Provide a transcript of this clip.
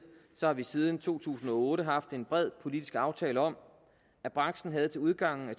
har vi siden to tusind og otte haft en bred politisk aftale om at branchen havde til udgangen af